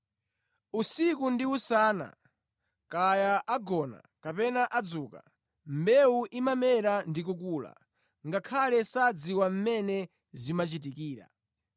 Usiku ndi usana, kaya agona kapena adzuka, mbewu imamera ndi kukula, ngakhale sadziwa mmene zimachitikira.